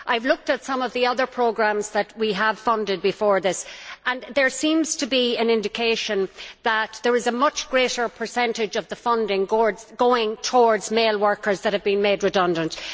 I have looked at some of the other programmes that we have funded before this, and there seems to be an indication that there is a much greater percentage of the funding going towards male workers that have been made redundant.